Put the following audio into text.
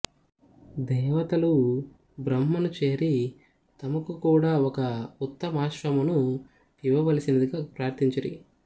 దేవతలు బ్రహ్మను చేరి తమకు కూడా ఒక ఉత్తమాశ్వమును ఇవ్వవలసినదిగా ప్రార్థించిరి